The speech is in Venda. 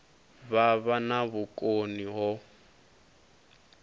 vha vha na vhukoni ho